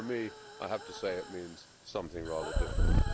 But for me, I have to say that it means something rather different.